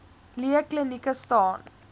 lee klinieke staan